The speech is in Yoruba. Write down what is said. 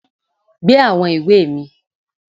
Gbé àwọn ìwé mi